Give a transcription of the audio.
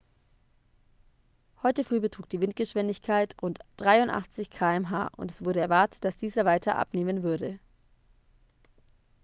heute früh betrug die windgeschwindigkeit rund 83 km/h und es wurde erwartet dass diese weiter abnehmen würde